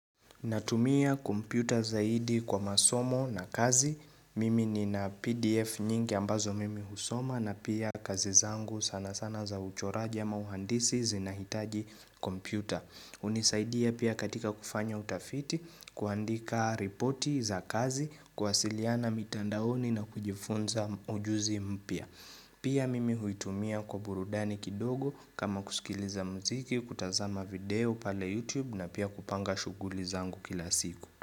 Natumia kompyuta zaidi kwa masomo na kazi. Mimi nina PDF nyingi ambazo mimi husoma na pia kazi zangu sana sana za uchoraji ama uhandisi zinahitaji kompyuta. Hunisaidia pia katika kufanya utafiti kuandika ripoti za kazi kuwasiliana mitandaoni na kujifunza ujuzi mpya. Pia mimi huitumia kwa burudani kidogo kama kusikiliza mziki kutazama video pale YouTube na pia kupanga shughuli zangu kila siku.